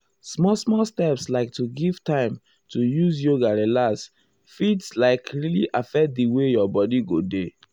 small small steps like to give time to use yoga relax fit like really affect di way your bodi go dey.